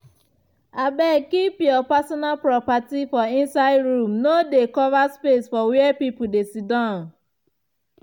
abeg keep your personal properti for inside room no dey cover space for where pipul dey siddan